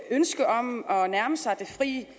ønske om at nærme sig det frie